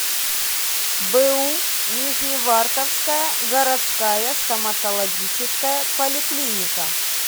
бу нижневартовская городская стоматологическая поликлиника